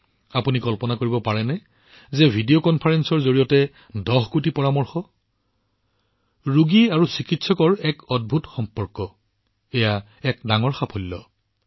আপোনালোকে কল্পনা কৰিব পাৰে ভিডিঅ কনফাৰেন্সৰ জৰিয়তে ১০ কোটি পৰামৰ্শ ৰোগী আৰু চিকিৎসকৰ মাজত এক আশ্চৰ্যকৰ বন্ধন এইটো এটা ডাঙৰ সাফল্য